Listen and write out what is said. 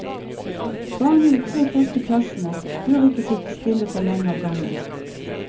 Barn i de tre første klassene bør ikke sitte stille for lenge av gangen.